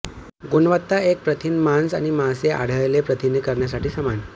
गुणवत्ता एक प्रथिन मांस आणि मासे आढळले प्रथिने करण्यासाठी समान